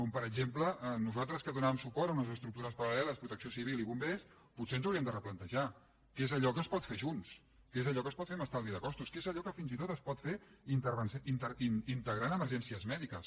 com per exem·ple nosaltres que donàvem suport a unes estructures paral·leles protecció civil i bombers potser ens hau·ríem de replantejar què és allò que es pot fer junts què és allò que es pot fer amb estalvi de costos què és allò que fins i tot es pot fer integrant emergències mèdiques